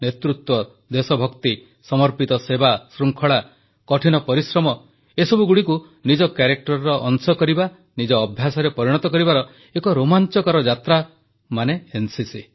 ନେତୃତ୍ୱ ଦେଶଭକ୍ତି ସମର୍ପିତ ସେବା ଶୃଙ୍ଖଳା କଠିନ ପରିଶ୍ରମ ଏସବୁଗୁଡ଼ିକୁ ନିଜ ଚରିତ୍ରର ଅଂଶ କରିବା ନିଜ ଅଭ୍ୟାସରେ ପରିଣତ କରିବାର ଏକ ରୋମାଂଚକର ଯାତ୍ରା ହେଉଛି ଏନସିସି